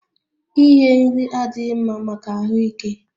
Ighe nri adịghị mma maka ahụ ike